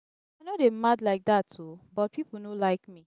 i no dey mad like dat oo but people no like me